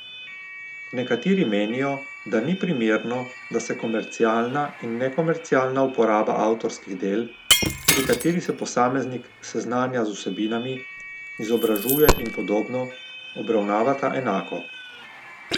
Nekateri menijo, da ni primerno, da se komercialna in nekomercialna uporaba avtorskih del, pri kateri se posameznik seznanja z vsebinami, izobražuje in podobno, obravnavata enako.